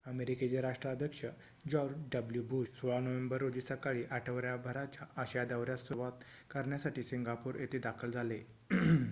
अमेरिकेचे राष्ट्राध्यक्ष George W Bush 16 November रोजी सकाळी आठवड्याभराच्या आशिया दौर्‍यास सुरुवात करण्यासाठी सिंगापूर येथे दाखल झाले